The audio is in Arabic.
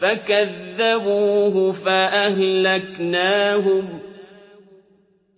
فَكَذَّبُوهُ فَأَهْلَكْنَاهُمْ ۗ